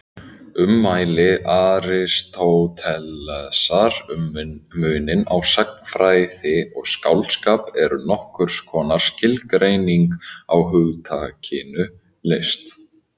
Ummæli Aristótelesar um muninn á sagnfræði og skáldskap eru nokkurs konar skilgreining á hugtakinu list.